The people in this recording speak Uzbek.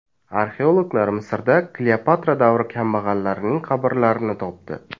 Arxeologlar Misrda Kleopatra davri kambag‘allarining qabrlarini topdi.